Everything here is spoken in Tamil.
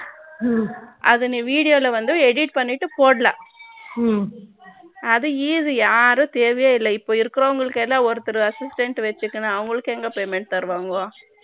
அது நீ video வில் வந்து edit பண்ணிட்டு போடலாம் ம்ம அது easy யாரும் தேவையே இல்ல இப்ப இருக்கிறவங்களுக்கு எல்லாம் ஒருத்தர் assistant வச்சுக்கின அவங்களுக்கு எங்க payment தருவாங்கோ ம்ம